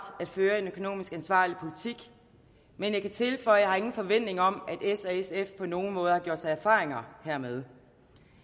at føre en økonomisk ansvarlig politik men jeg kan tilføje at jeg ingen forventning har om at s og sf på nogen måde har gjort sig erfaringer hermed